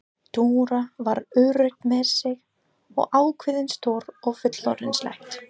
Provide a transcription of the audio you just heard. Dóra var örugg með sig og ákveðin, stór og fullorðinsleg.